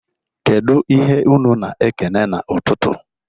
Kedụ ihe unu na-ekene n'ụtụtụ?